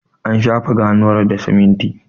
an shafe ganuwar da siminti